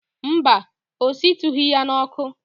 Mba, ọ shitughị ya n'ọkụ.